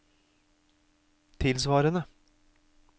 tilsvarende